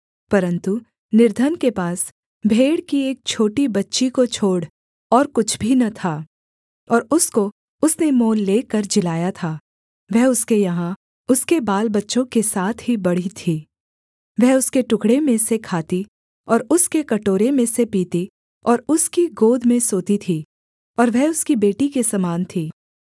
परन्तु निर्धन के पास भेड़ की एक छोटी बच्ची को छोड़ और कुछ भी न था और उसको उसने मोल लेकर जिलाया था वह उसके यहाँ उसके बालबच्चों के साथ ही बढ़ी थी वह उसके टुकड़े में से खाती और उसके कटोरे में से पीती और उसकी गोद में सोती थी और वह उसकी बेटी के समान थी